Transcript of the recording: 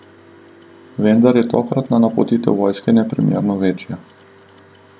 Vendar je tokratna napotitev vojske neprimerno večja.